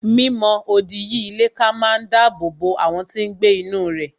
Mi mọ odi yí ilé ká máa dáàbò bo àwọn tí n gbé inú rẹ̀